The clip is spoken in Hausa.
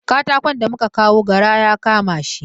Katakon da muka kawo gara ya kama shi.